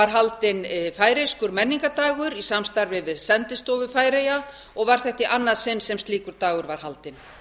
haldinn færeyskur menningardagur í samstarfi við sendistovu færeyja og var þetta í annað sinn sem slíkur dagur var haldinn